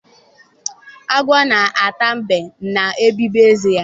Agwọ na-atụ mbe, na-ebibi eze ya.